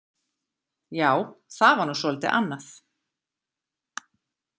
Já, það var nú svolítið annað.